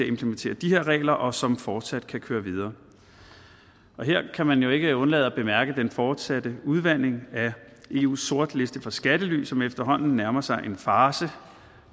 implementere de her regler og som fortsat kan køre videre og her kan man ikke undlade at bemærke den fortsatte udvanding af eus sortliste for skattely som efterhånden nærmer sig en farce